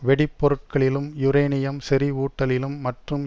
வெடிப்பொருட்களிலும் uranium செறிவூட்டலிலும் மற்றும்